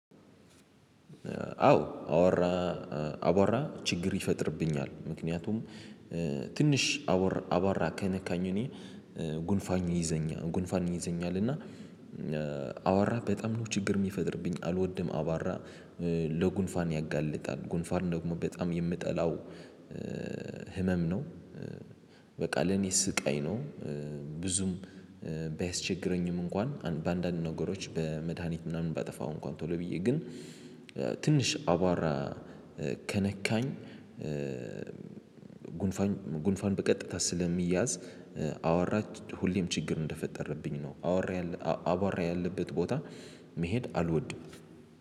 አዎ አወራ አቧራ ችግር ይፈጥርብኛል ምክንያቱም ትንሽ አወር አቧራ ከነካኝ እኔን ጉንፋኝ ይዘኛ ጉንፋን ይይዘኛል። እና አቧራ በጣም ነው ችግር የሚፈጥርብኝ አልወድም አቧራ ለጉንፋን ያጋልጣል ጉንፋን ደግሞ በጣም የምጠላው ህመም ነው። በቃ ለኔ ስቃይ ነው። ብዙም ባያስቸግረኝም እንኳን በአንዳንድ ነገሮች በመድሃኒት ምናምን ባጠፋው እንኳን ቶሎ ብዬ ግን ትንሽ አቧራ ከነካኝ። ጉንፋኝ ጉንፋን በቀጥታ ስለሚያዝ አወራች ሁሌም ችግር እንደፈጠረብኝ ነው። አወራ አቧራ ያለበት ቦታ መሄድ አልወድም።